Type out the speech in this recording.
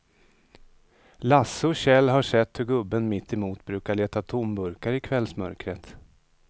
Lasse och Kjell har sett hur gubben mittemot brukar leta tomburkar i kvällsmörkret.